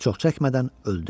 Çox çəkmədən öldü.